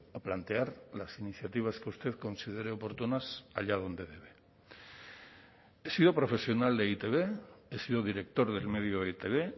a plantear las iniciativas que usted considere oportunas allá donde debe he sido profesional de e i te be he sido director del medio e i te be